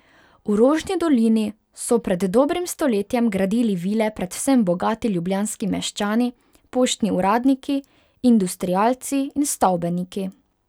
V Rožni dolini so pred dobrim stoletjem gradili vile predvsem bogati ljubljanski meščani, poštni uradniki, industrialci in stavbeniki.